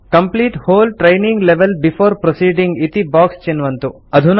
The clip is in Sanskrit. complete whole training level before proceeding इति बॉक्स चिन्वन्तु